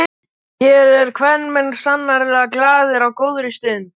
Hér eru kvenmenn sannarlega glaðir á góðri stund.